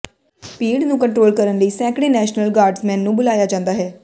ਭੀੜ ਨੂੰ ਕੰਟਰੋਲ ਕਰਨ ਲਈ ਸੈਂਕੜੇ ਨੈਸ਼ਨਲ ਗਾਰਡਜ਼ਮੈਨ ਨੂੰ ਬੁਲਾਇਆ ਜਾਂਦਾ ਹੈ